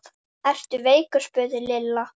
Ertu veikur? spurði Lilla.